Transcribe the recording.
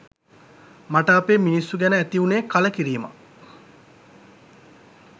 මට අපේ මිනිස්සු ගැන ඇති උනේ කලකිරීමක්..